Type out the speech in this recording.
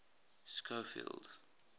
schofield